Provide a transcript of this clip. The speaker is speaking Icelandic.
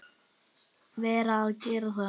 Verð að gera það.